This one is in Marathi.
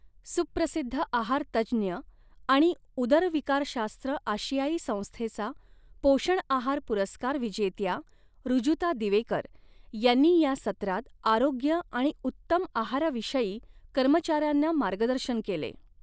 सुप्रसिद्ध आहार तज्ज्ञ आणि उदरविकारशास्त्र आशियाई संस्थेचा पोषण आहार पुरस्कार विजेत्या ऋजुता दिवेकर यांनी या सत्रात आरोग्य आणि उत्तम आहाराविषयी कर्मचाऱ्यांना मार्गदर्शन केले.